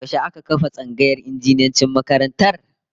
Yaushe aka kafa tsangayar injiniyancin makarantar?